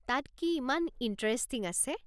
তাত কি ইমান ইণ্টাৰেষ্টিং আছে?